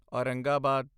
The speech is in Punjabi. ਔਰੰਗਾਬਾਦ